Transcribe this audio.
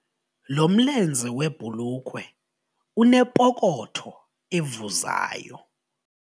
Lo mlenze webhulukhwe unepokotho evuzayo.